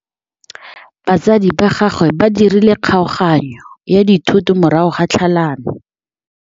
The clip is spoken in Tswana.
Batsadi ba gagwe ba dirile kgaoganyô ya dithoto morago ga tlhalanô.